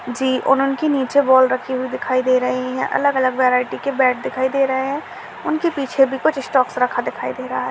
जी उन उनकी नीचे बॉल रखी हुई दिखाई दे रही है अलग-अलग वैरायटी के बैट दिखाई दे रहे है उनके भी पीछे भी कुछ स्टॉक रखा दिखाई दे रहा है।